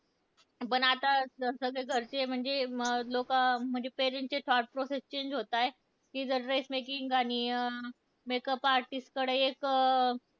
पण आत सगळे घरचे म्हणजे लोकं, म्हणजे parents चे thought process change होताय. की जर dress making आणि makeup artist कडे एक,